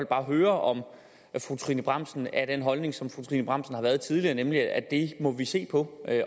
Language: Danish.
bare høre om fru trine bramsen er af den holdning som fru trine bramsen har været tidligere nemlig at det må vi se på